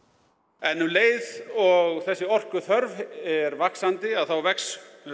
en um leið og þessi orkuþörf er vaxandi að þá vex